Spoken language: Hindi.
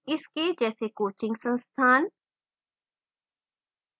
इसके जैसे coaching संस्थान